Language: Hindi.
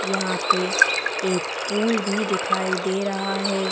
यहां पे एक पूल भी दिखाई दे रहा है।